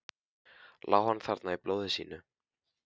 Lá hann þarna í blóði sínu?